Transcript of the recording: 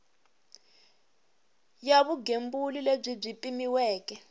ya vugembuli lebyi byi pimiweke